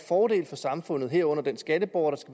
fordel for samfundet herunder den skatteborger